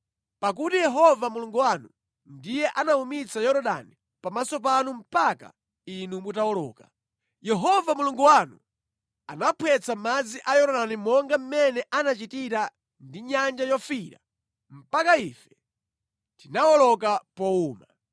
Pakuti Yehova Mulungu wanu ndiye anawumitsa Yorodani pamaso panu mpaka inu mutawoloka. Yehova Mulungu wanu anaphwetsa madzi a Yorodani monga mmene anachitira ndi Nyanja Yofiira mpaka ife tinawoloka powuma.